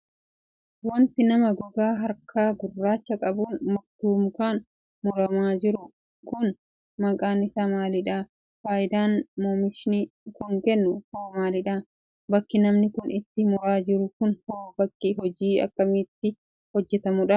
Wanti nama gogaa harkaa gurraacha qabuun murtuu mukaan muramaa jiru kun, maqaan isaa maalidha? Faayidaan oomishini kun kennu hoo maaliidha? Bakki namni kun itti muraa jiru kun hoo bakki hojiin akkamii itti hojjatamuudha?